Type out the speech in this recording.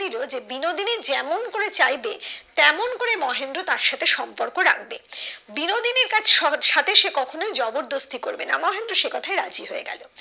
যে বিনোদিনী যেমন করে চাইবে তেমন করেই মহেন্দ্র তার সাথেই সম্পর্ক রাখবে বিনোদিনীর কাছে সহজ সাথে কখনো জবর দোস্তি করবে না মহেন্দ্র সেই কোথায় রাজি হয়ে গেলো